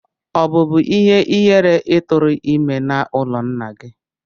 Ọ bubu ihe-ihere I turu ime n'ulo nna gi.